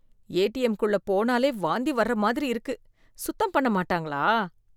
ATM குள்ள போனாலே வாந்தி வர மாதிரி இருக்குது, சுத்தம் பண்ண மாட்டாங்களா.